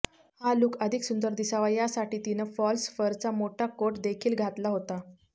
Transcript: हा लुक अधिक सुंदर दिसावा यासाठी तिनं फॉल्स फरचा मोठा कोट देखील घातला होता